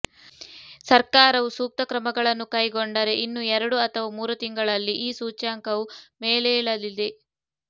ಸರ್ಕಾರವು ಸೂಕ್ತ ಕ್ರಮಗಳನ್ನು ಕೈಗೊಂಡರೆ ಇನ್ನು ಎರಡು ಅಥವಾ ಮೂರು ತಿಂಗಳಲ್ಲಿ ಈ ಸೂಚ್ಯಂಕವು ಮೇಲೇಳಲಿದೆ